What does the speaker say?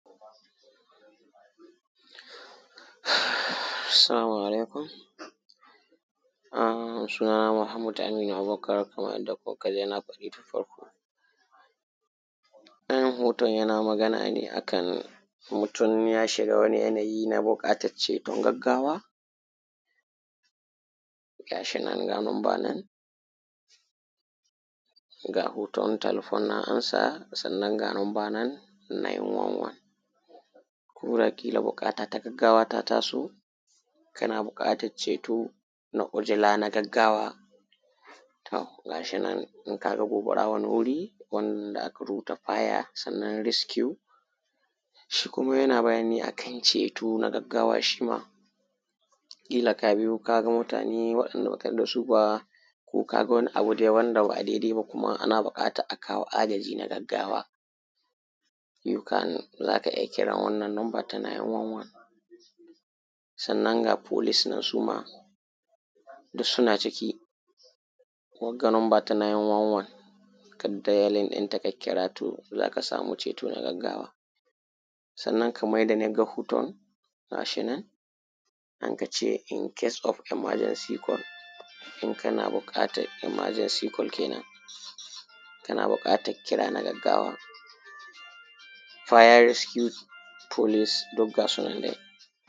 Salamu alaikum suna na Muhammad Aminu Abubakar kamar yanda kuka ji na faɗi tun farko. Dayan hoton yana magana ne akan mutum ya shiga wani yana yi na buƙatan ceton gaggawa gashi nan ga numba nan ga hoton talfon nan ansa sannan ga numba nan nine one one (911) koda kila buƙata ta gaggawa ta ta so kana buƙatan ceto na ujula na gaggawa to gashi nan, in kaga gobara wani wuri wanda aka rubuta faya sannan riskiyu shi kuma yana bayani ne akan ceto na gaggawa shi ma. Kila ka biyo kaga mutane wadanda baka yadda da su ba ko kaga wani abu wanda ba daidai ba kuma ana buƙatan a kawo agaji na gaggawa yo kan zaka iya kiran wannan numba na nine one one (911) sannan ga folis nan suma duk suna ciki wagga numbar ta niy wan wan kan dayalin dinta ka kira to zaka samu ceto na gaggawa. Sannan kamar yanda naga hoton gashin nan aka ce in kase of imajansi kal in kana buƙatan imajansi kal kenen in kana bukatan kira na gaggawa fiya sukuroti folis duk gasu nan.